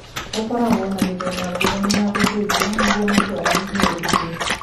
Gũkoragwo na mĩthemba ngũrani ya gũthĩnjwo nĩguo mũndũ anyihie ũritũ.